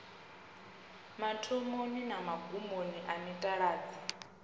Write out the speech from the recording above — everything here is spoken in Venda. mathomoni na magumoni a mitaladzi